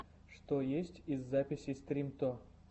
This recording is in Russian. что есть из записей стримто